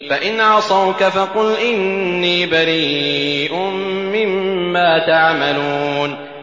فَإِنْ عَصَوْكَ فَقُلْ إِنِّي بَرِيءٌ مِّمَّا تَعْمَلُونَ